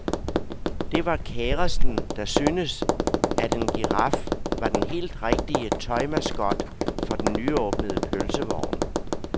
Det var kæresten, der syntes, at en giraf var den helt rigtige tøj-mascot for den nyåbnede pølsevogn.